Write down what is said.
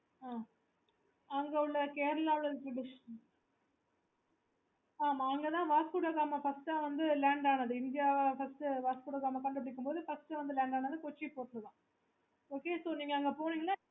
okay